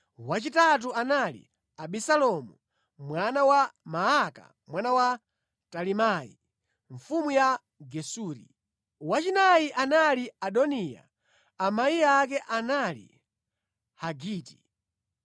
wachitatu anali Abisalomu, mwana wa Maaka mwana wa Talimai mfumu ya Gesuri; wachinayi anali Adoniya amayi ake anali Hagiti;